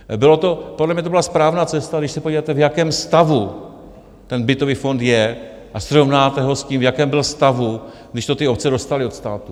Podle mě to byla správná cesta, když se podíváte, v jakém stavu ten bytový fond je, a srovnáte ho s tím, v jakém byl stavu, když to ty obce dostaly od státu.